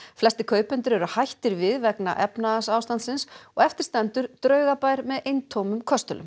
flestir kaupendur eru hættir við vegna efnahagsástandsins og eftir stendur draugabær með eintómum köstulum